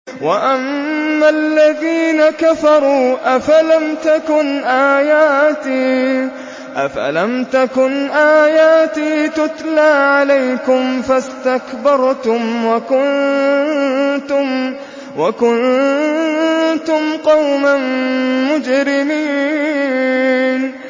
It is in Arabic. وَأَمَّا الَّذِينَ كَفَرُوا أَفَلَمْ تَكُنْ آيَاتِي تُتْلَىٰ عَلَيْكُمْ فَاسْتَكْبَرْتُمْ وَكُنتُمْ قَوْمًا مُّجْرِمِينَ